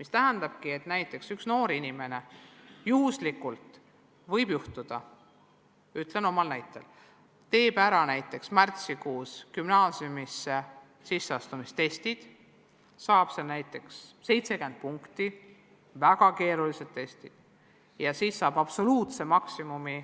See tähendab seda, et kui üks noor inimene juhuslikult – ütlen oma kogemusest – teeb ära näiteks märtsikuus gümnaasiumisse sisseastumise testid ja saab seal näiteks 70 punkti, olles sooritanud väga keerulised testid, siis võib ta põhikooli lõpus saada absoluutse maksimumi,